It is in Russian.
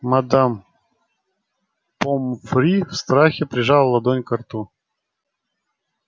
мадам помфри в страхе прижала ладонь ко рту